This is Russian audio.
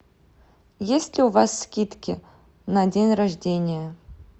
есть ли у вас скидки на день рождения